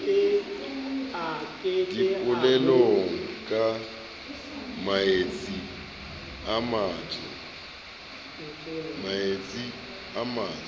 dipolelong ka maetsi a matso